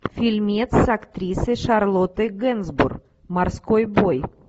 фильмец с актрисой шарлоттой генсбур морской бой